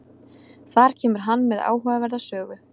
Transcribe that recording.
Þar kemur hann með áhugaverða sögu.